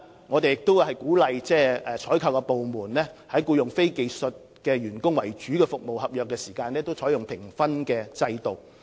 我們亦鼓勵採購部門在處理僱用非技術員工為主的服務合約時，採用評分制度。